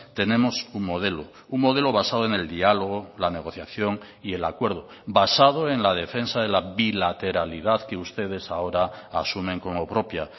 tenemos un modelo un modelo basado en el diálogo la negociación y el acuerdo basado en la defensa de la bilateralidad que ustedes ahora asumen como propia